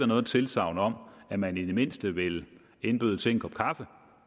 noget tilsagn om at man i det mindste vil indbyde til en kop kaffe